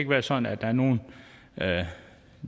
være sådan at der er nogle det